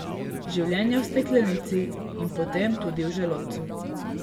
Življenje v steklenici in potem tudi v želodcu.